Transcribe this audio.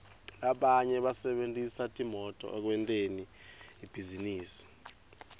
labanye basebentisa timoto ekwenteni libhizinisi